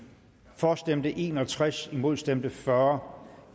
for stemte en og tres imod stemte fyrre